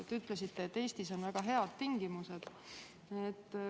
Te ütlesite, et Eestis on väga head tingimused.